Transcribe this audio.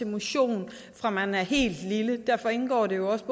motion fra man er helt lille derfor indgår det også